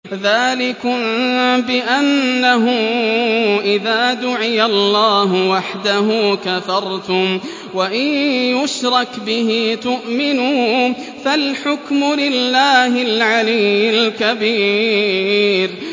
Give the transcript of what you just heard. ذَٰلِكُم بِأَنَّهُ إِذَا دُعِيَ اللَّهُ وَحْدَهُ كَفَرْتُمْ ۖ وَإِن يُشْرَكْ بِهِ تُؤْمِنُوا ۚ فَالْحُكْمُ لِلَّهِ الْعَلِيِّ الْكَبِيرِ